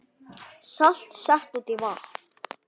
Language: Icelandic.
Salt sett út í vatn